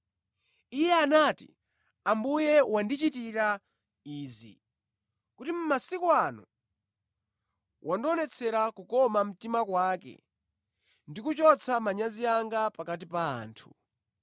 Iye anati, “Ambuye wandichitira izi, kuti mʼmasiku ano wandionetsera kukoma mtima kwake ndi kuchotsa manyazi anga pakati pa anthu.”